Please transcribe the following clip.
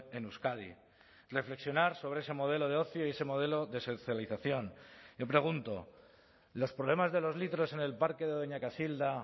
en euskadi reflexionar sobre ese modelo de ocio y ese modelo de socialización yo pregunto los problemas de los litros en el parque de doña casilda